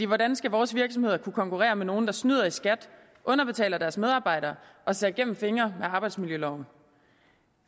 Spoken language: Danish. hvordan skal vores virksomheder kunne konkurrere med nogle der snyder i skat underbetaler deres medarbejdere og ser gennem fingre med arbejdsmiljøloven